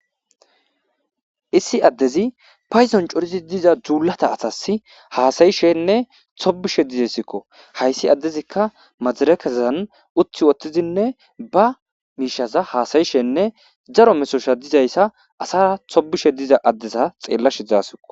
Issi addezi payzon corizi diza dzuulata asas haasayishenne tobishe dizessikko hayssi addezikka majarekezazan utthi wottizinne ba miishaza haasayishenne daro mesosha dizayssa asaa tobishe diza addeza xeellashe zaasiqo